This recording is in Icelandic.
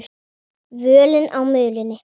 Völin á mölinni